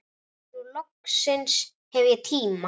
Nú loksins hef ég tíma.